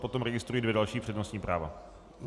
Potom registruji dvě další přednostní práva.